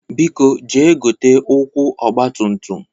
Biko jee gote ụkwụ ọgbatumtum!